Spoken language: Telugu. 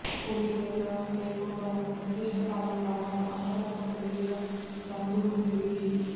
పొడి లేదా లేకుండా ఒక నిర్దిష్ట కాలం తర్వాత అంతర్గత శరీర బంధువులు తిరిగి